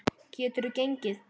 Geturðu gengið?